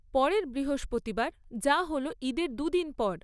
পরের বৃহস্পতিবার, যা হল ঈদের দুদিন পর।